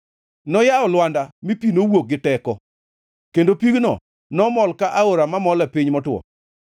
Noyawo lwanda, mi pi nowuok gi teko; kendo pigno nomol ka aora mamol e piny motwo.